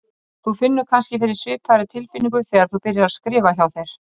Þú finnur kannski fyrir svipaðri tilfinningu þegar þú byrjar að skrifa hjá þér.